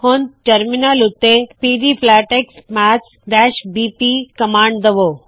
ਹੁਣ ਟਰਮਿਨਲ ਉੱਤੇ pdflatex maths BP pdflatex maths BP command ਦਵੋ